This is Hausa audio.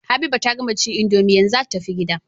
Habiba ta gama cin indomie yanzu zata tafi gida